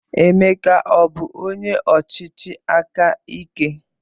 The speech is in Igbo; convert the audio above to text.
Emeka abụ onye ọchịchị aka ike?